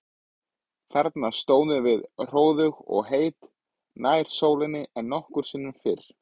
Þarna stóðum við hróðug og heit, nær sólinni en nokkru sinni fyrr.